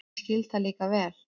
Ég skil það líka vel.